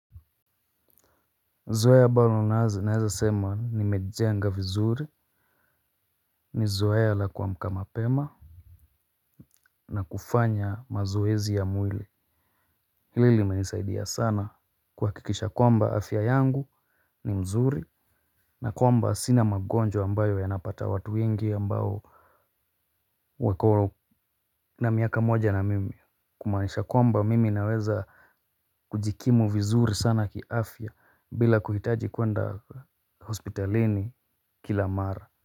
Zoea ambazo ninazo naeza sema ni mejenga vizuri ni zoea la kuamka mapema na kufanya mazoezi ya mwili hili imenisaidia sana kuhakikisha kwamba afya yangu ni mzuri na kwamba sina magonjwa ambayo yanapata watu wengi ambao wako na miaka moja na mimi kumanisha kwamba mimi naweza kujikimu vizuri sana kiafya bila kuhitaji kwenda hospitalini kila mara.